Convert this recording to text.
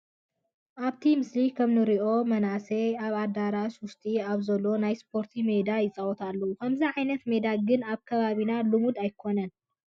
ኣብቲ ምስሊ ከምእንሪኦ መናሰይ ኣብ ኣዳራሽ ውጥጢ ኣብ ዘሎ ናይ ስፖርቲ ሜዳ ይፃወቱ ኣለዉ፡፡ ከምዚ ዓይነት ሜዳ ግን ኣብ ከባቢና ልሙድ ኣይኮነን፡፡